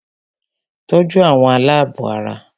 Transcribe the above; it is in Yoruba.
Tọ́jú àwọn alábọ̀ara!